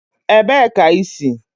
Ebee ka i si?